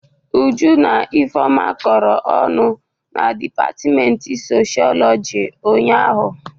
Uju na Ifeọma kọrọ ọnụ na dịpatịmentị socholọjị ụnyaahụ.